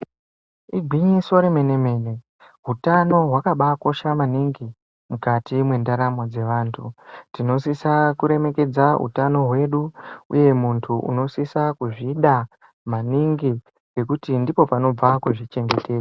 Igwinyiso remene mene hutano hwakabakosha maningi mukati mendaramo dzevanhu tinosisa kuremekedza utano hwedu uye munhu unosisa kuzvida maningi nekuti ndipo panobva kuzvichengetedza.